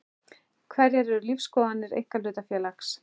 Hverjar eru lífsskoðanir einkahlutafélags?